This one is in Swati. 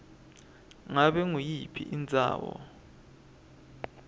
ngabe nguyiphi indzawo